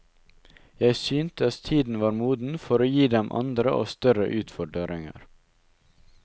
Jeg syntes tiden var moden for å gi dem andre og større utfordringer.